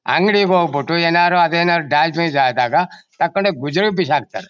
ಅಂಗಡಿ ಹೋಗ್ಬಿಟ್ಟು ಏನಾದರು ಅದೇನಾದರೂ ಡ್ಯಾಮೇಜ್ ಆಧಾಗ ತಗೊಂಡು ಗುಜ್ರಿಗೆ ಭಿಸಾಕ್ತರ.